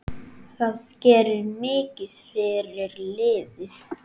Það gerir mikið fyrir liðið.